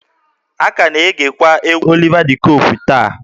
A ka na-egekwa egwú Oliva de Coque taa